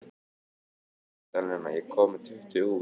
Magdalena, ég kom með tuttugu húfur!